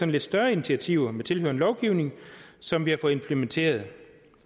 lidt større initiativer med tilhørende lovgivning som vi har fået implementeret